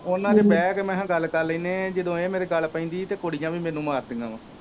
ਉਹਨਾਂ ਚ ਬਹਿ ਕੇ ਮੈ ਕਿਹਾ ਗੱਲ ਕਰ ਲੈਣੇ ਆ ਜਦੋ ਇਹ ਮੇਰੇ ਗੱਲ ਪੈਂਦੀ ਹੀ ਤੇ ਕੁੜੀਆਂ ਵੀ ਮੈਨੂੰ ਮਾਰਦੀਆਂ ਵਾ।